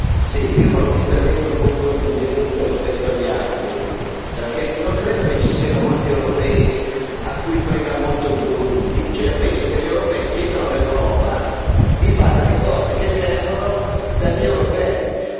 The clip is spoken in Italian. Signora Presidente, onorevoli colleghi, io farò un intervento un po' in controtendenza rispetto agli altri, perché non credo che ci siano molti europei a cui frega molto il Burundi. Io penso che gli europei chiedano all'Europa di fare le cose che servono per gli europei.